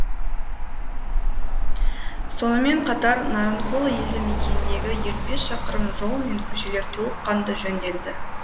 сонымен қатар нарынқол елді мекеніндегі елу бес шақырым жол мен көшелер толыққанды жөнделеді